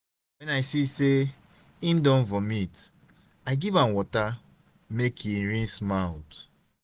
wen i see sey im don vomit i give am water make e rinse mouth.